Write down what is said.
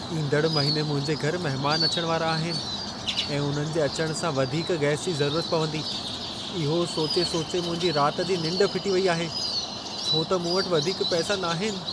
ईंदड़ महिने मुंहिंजे घर महिमान अचण वारा आहिनि ऐं उन्हनि जे अचण सां वधीक गैस जी ज़रूरत पवंदी। इहो सोचे सोचे मुंहिंजी राति जी निंढ फिटी वेई आहे, छो त मूं वटि वधीक पैसा नाहिनि।